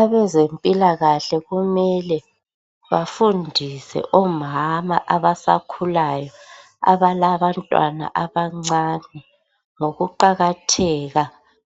Abezempilakahle kumele bafundise omama abasakhulayo abalabantwana abancane ngokuqakatheka